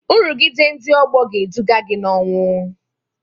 Nrụgide ndị ọgbọ ga-eduga gị n'ọnwụ